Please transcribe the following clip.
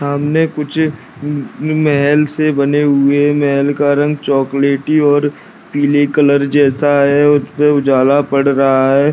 सामने कुछ म म महल से बने हुए महल का रंग चॉकलेटी और पिले कलर जैसा है और उसपे उजाला पड़ रहा है।